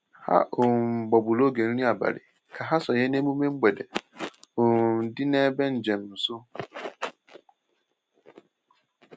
Ha um gbagburu oge nri abalị ka ha sonye n’emume mgbede um dị n’ebe njem nsọ.